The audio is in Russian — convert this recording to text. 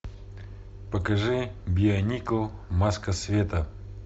покажи бионикл маска света